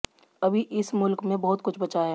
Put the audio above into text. अभी इस मुल्क में बहुत कुछ बचा है